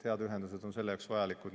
Head ühendused on selle jaoks vajalikud.